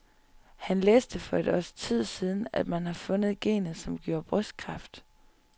Han læste for et års tid siden, at man har fundet genet, som giver brystkræft.